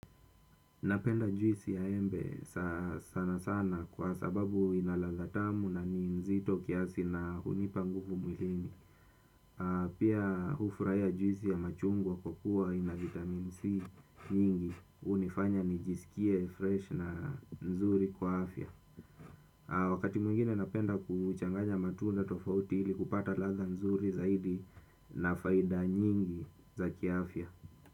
Napenda juisi ya embe sana sana kwa sababu ina ladha tamu na ni nzito kiasi na hunipa nguvu mwilini. Pia hufurahia juisi ya machungwa kwa kuwa ina vitamin C nyingi. Hunifanya nijisikie freshi na nzuri kwa afya. Wakati mwingine napenda kuchanganya matunda tofauti ili kupata ladha nzuri zaidi na faida nyingi za kiafya.